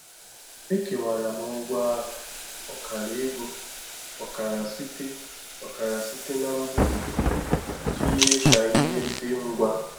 Ekewara m ụgwọ ahụ—ọkara ego, ọkara site ọkara site na mbufe—iji mee ka ihe dị ngwa.